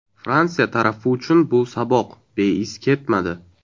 Fransiya tarafi uchun bu saboq beiz ketmadi.